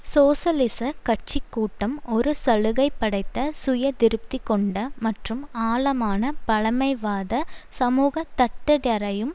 சோசலிச கட்சி கூட்டம் ஒரு சலுகை படைத்த சுய திருப்திகொண்ட மற்றும் ஆழமான பழமைவாத சமூக தட்டுடரையும்